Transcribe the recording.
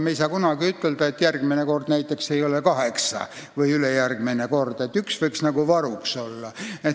Me ei saa kunagi ütelda, et järgmine või ülejärgmine kord ei ole see arv näiteks kaheksa, nii et üks võiks varuks olla.